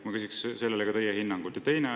Ma küsiksin teie hinnangut sellele.